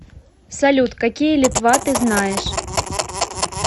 салют какие литва ты знаешь